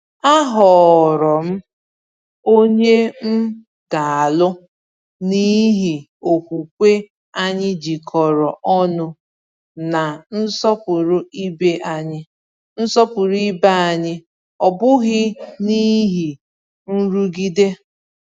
Ahọọrọ m onye m ga-alụ n’ihi okwukwe anyị jikọrọ ọnụ na nsọpụrụ ibe anyị, nsọpụrụ ibe anyị, ọ bụghị n’ihi nrụgide.